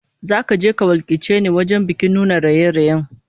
Zaka je ka wakilce ni wajen bikin nuna raye-rayen